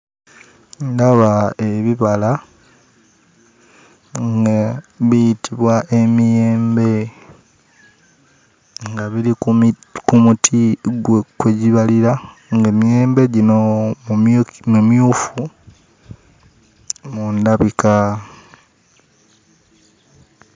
Ndaba ebibala nga biyitibwa emiyembe nga biri ku muti kwe gibalira ng'emiyembe gino mimyufu mu ndabika.